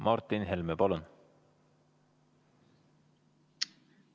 Martin Helme, palun!